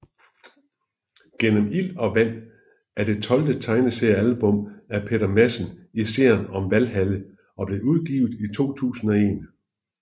Gennem ild og vand er det tolvte tegneseriealbum af Peter Madsen i serien om Valhalla og blev udgivet i 2001